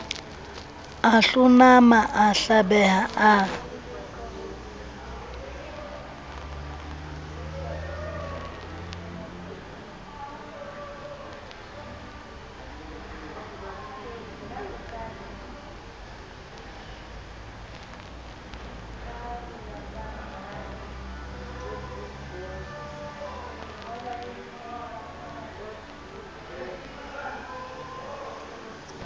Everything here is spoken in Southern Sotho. a hlonama a hlabeha a